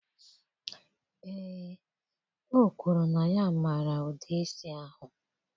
Ee, o kwuru na ya maara ụdị isi ahụ.